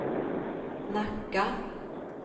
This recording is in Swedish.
Nacka